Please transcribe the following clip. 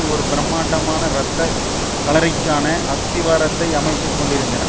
ஒரு பிரமாண்டமான இரத்த களரிக்கான அஸ்திவாரத்தை அமைத்து கொண்டிருந்தன